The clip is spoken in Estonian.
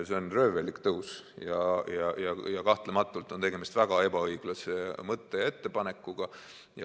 See on röövellik tõus ja kahtlematult on tegemist väga ebaõiglase mõtte ja ettepanekuga.